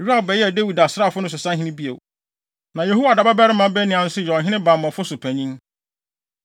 Yoab bɛyɛɛ Dawid asraafo no so sahene bio. Na Yehoiada babarima Benaia nso yɛ ɔhene bammɔfo so panyin.